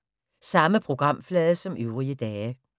Samme programflade som øvrige dage